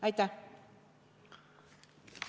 Aitäh!